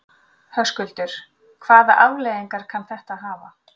Höskuldur: Hvaða afleiðingar kann þetta að hafa?